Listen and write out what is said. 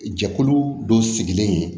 Jɛkulu dɔ sigilen ye